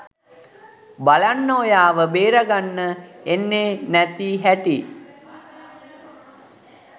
බලන්න ඔයාව බේරගන්න එන්නේ නැති හැටි.